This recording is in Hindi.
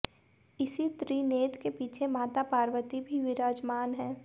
इसी त्रिनेत्र के पीछे माता पार्वती भी विराजमान है